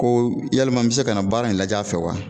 Ko yalima n be se ka na baara in lajɛ a fɛ wa?